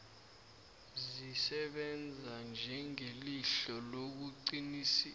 zisebenza njengelihlo lokuqinisekisa